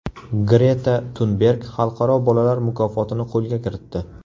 Greta Tunberg xalqaro bolalar mukofotini qo‘lga kiritdi.